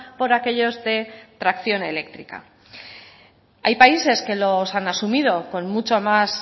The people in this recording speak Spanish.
por aquellos de tracción eléctrica hay países que los han asumido con mucho más